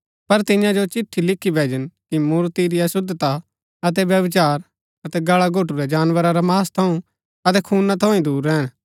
पर तियां जो चिट्ठी लिखी भैजन कि मूर्ति री अशुद्धता अतै व्यभिचार अतै गळा घोटुरै जानवरा रा मांस थऊँ अतै खूना थऊँ दूर ही रैहन